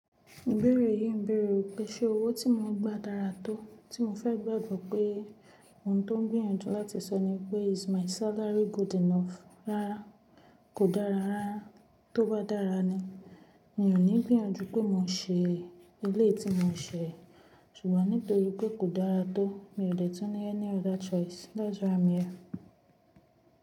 Ìbéèrè yìí ń béèrè pé ṣe owó tí mo ń gba dára tó? Tí mo fẹ́ gbàgbọ́ pé ohun tó ń gbìyànjú láti sọ ní pé “is my salary good enough?” Rárá kò dára rárá. Tó bá dára ni, mi ò ní gbìyànjú pé mo ṣe eléyìí tí mo ń ṣe. Ṣùgbọ́n nítorí pé kò dára tó, mi ò lè tún ní ẹni other choice thats why i am here.